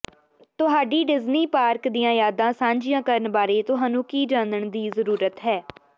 ਤੁਹਾਡੀ Disney park ਦੀਆਂ ਯਾਦਾਂ ਸਾਂਝੀਆਂ ਕਰਨ ਬਾਰੇ ਤੁਹਾਨੂੰ ਕੀ ਜਾਣਨ ਦੀ ਜ਼ਰੂਰਤ ਹੈ